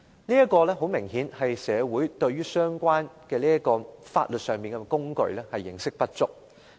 這顯然是社會對相關的法律工具認識不足。